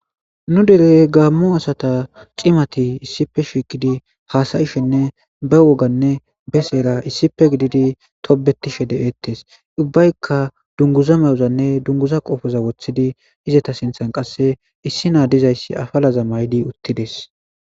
Nu derey gamo asata c'imati issipe shiqidi hasa'ishene be woganne besera issipe gididi tobetishe de'ettes ubayika dunguza ma'ozanne dunguza qopheza woththidi izata sinthan qasse issi naa dizayssi afalaza maydi utides.